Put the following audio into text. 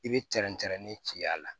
I bɛ tɛrɛntɛrɛnni ci a la